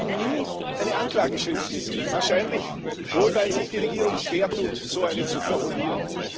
Sie haben nie eine Anklageschrift gesehen wahrscheinlich wohl, weil sich die Regierung schwertut, so eine zu formulieren.